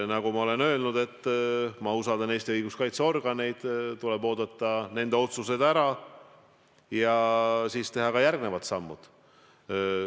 Nagu ma olen öelnud, ma usaldan Eesti õiguskaitseorganeid, tuleb oodata ära nende otsused ja siis teha järgmised sammud.